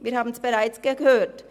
Wir haben es bereits gehört.